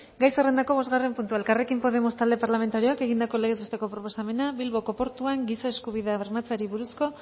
gai zerrendako bosgarren puntuaelkarrekin podemos talde parlamentarioak egindako legez besteko proposamena bilboko portuan giza eskubideak bermatzeari buruz